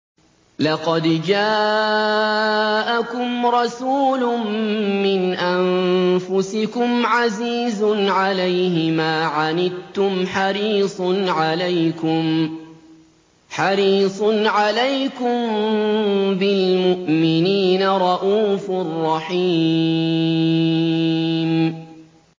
لَقَدْ جَاءَكُمْ رَسُولٌ مِّنْ أَنفُسِكُمْ عَزِيزٌ عَلَيْهِ مَا عَنِتُّمْ حَرِيصٌ عَلَيْكُم بِالْمُؤْمِنِينَ رَءُوفٌ رَّحِيمٌ